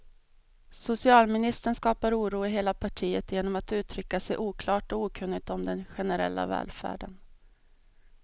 Socialministern skapar oro i hela partiet genom att uttrycka sig oklart och okunnigt om den generella välfärden.